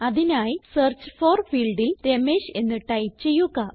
അതിനായി search for ഫീൽഡിൽ രമേഷ് എന്ന് ടൈപ്പ് ചെയ്യുക